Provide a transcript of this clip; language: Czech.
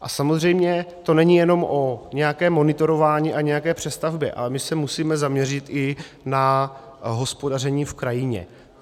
A samozřejmě to není jenom o nějakém monitorování a nějaké přestavbě, ale my se musíme zaměřit i na hospodaření v krajině.